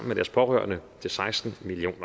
med deres pårørende til seksten million